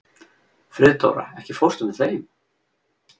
Friðdóra, ekki fórstu með þeim?